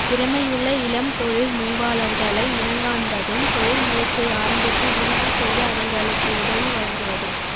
திறமையுள்ள இளம் தொழில் முனைவாளர்களை இனங்காண்பதும் தொழில் முயற்சியை ஆரம்பித்து விருத்தி செய்ய அவர்களுக்கு உதவி வழங்குவதும்